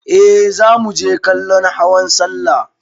Eh za muje kallon hawan sallah.